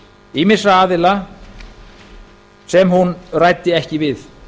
ýmissa aðila sem hún ræddi ekki við